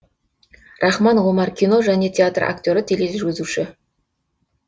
рахман омар кино және театр актері тележүргізуші